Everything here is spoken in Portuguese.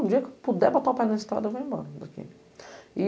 O dia que eu puder botar o pé na estrada, eu vou embora daqui.